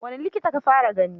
Wane likita ka fara gani?